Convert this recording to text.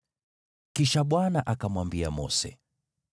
Kisha Bwana akamwambia Mose: